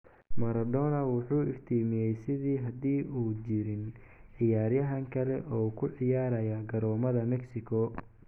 Maradona wuxuu iftiimayay sidii haddii uu jirin ciyaaryahan kale oo ku ciyaaraya garoomada Mexico.